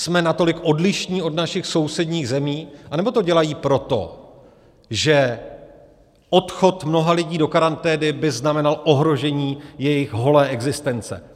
Jsme natolik odlišní od našich sousedních zemí, anebo to dělají proto, že odchod mnoha lidí do karantény by znamenal ohrožení jejich holé existence?